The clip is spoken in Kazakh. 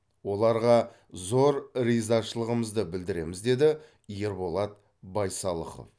оларға зор ризашылығымызды білдіреміз деді ерболат байсалықов